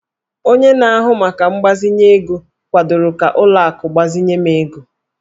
Onye na-ahụ maka mgbazinye ego kwadoro ka ụlọ akụ gbazinye m ego